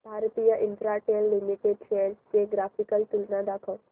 Bharti Infratel limited shares ची graphical तुलना दाखव